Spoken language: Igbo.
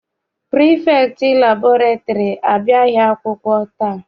Pirifektị laịbụrarị abịaghị akwụkwọ taa.